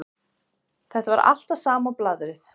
Þetta var alltaf sama blaðrið.